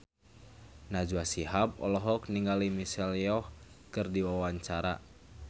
Najwa Shihab olohok ningali Michelle Yeoh keur diwawancara